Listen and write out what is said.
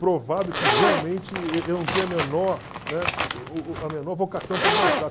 provado que realmente e eu não tenho a menor, né, a menor vocação para dançar.